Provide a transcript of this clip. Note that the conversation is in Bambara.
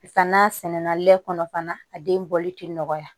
Ka n'a sɛnɛnna lɛ kɔnɔ fana a den bɔli tɛ nɔgɔya